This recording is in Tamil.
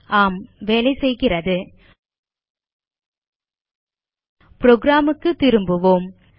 ஆம் வேலைசெய்கிறது புரோகிராம் க்கு திரும்புவோம்